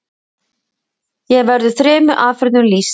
hér verður þremur aðferðum lýst